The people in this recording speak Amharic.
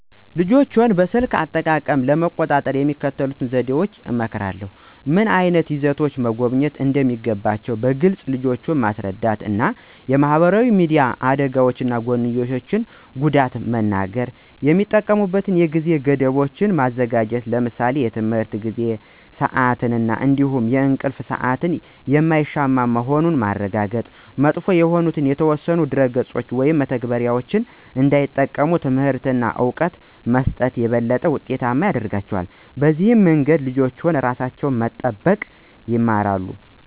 ልጆችን በስልክ አጠቃቀም ለመቆጣጠር የሚከተሉትን ዘዴዎች እመክራለሁ። ምን ዓይነት ይዘቶችን መጎብኘት እንደሚገባቸው በግልፅ ልጆችን ማስረዳት እና የማህበራዊ ሚዲያ አደጋዎች ጎንዮሽ ጉዳት መንገር። የሚጠቀሙበትን የጊዜ ገደቦች ማዘጋጀት ለምሳሌ የትምህርት ጊዜ እና ስአት እንዲሁም የእንቅልፍ ሰአት የማይሻማ መሆኑን ማረጋገጥ። መጥፎ የሆኑ የተወሰኑ ድረ-ገጾችን ወይም መተግበሪያዎችን እንዳይጠቀሙ ትምህርት እና እውቀት መስጠት ይበልጥ ውጤታማ ያረጋቸዋል። በዚህ መንገድ ልጆች ራሳቸውን መጠበቅ ይማራሉ።